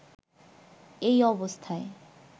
এই অবস্থায়